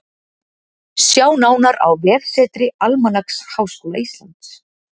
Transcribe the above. Sjá nánar á vefsetri Almanaks Háskóla Íslands.